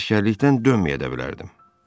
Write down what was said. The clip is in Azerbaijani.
Əsgərlikdən dönməyə də bilərdim.